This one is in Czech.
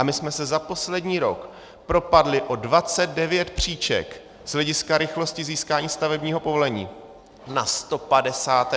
A my jsme se za poslední rok propadli o 29 příček z hlediska rychlosti získání stavebního povolení na 156. místo na světě.